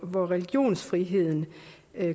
hvor religionsfriheden